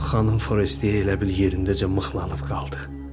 Xanım Forestiye elə bil yerindəcə mıxlanıb qaldı.